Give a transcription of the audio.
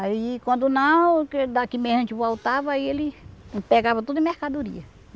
Aí, quando não, que daqui a meia a gente voltava aí ele pegava tudo em mercadoria.